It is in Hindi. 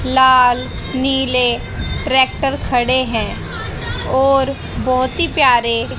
लाल नीले ट्रैक्टर खड़े हैं और बहुत ही प्यारे।